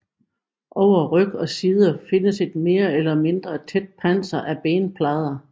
Over ryg og sider findes et mere eller mindre tæt panser af benplader